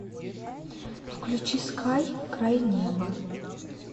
включи скай край неба